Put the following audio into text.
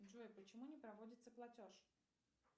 джой почему не проводится платеж